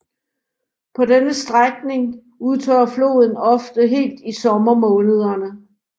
På denne strækning udtørrer floden ofte helt i sommermånederne